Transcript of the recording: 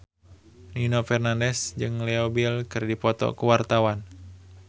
Nino Fernandez jeung Leo Bill keur dipoto ku wartawan